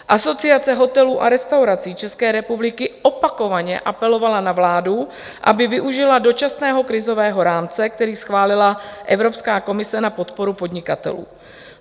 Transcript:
Asociace hotelů a restaurací České republiky opakovaně apelovala na vládu, aby využila dočasného krizového rámce, který schválila Evropská komise na podporu podnikatelů.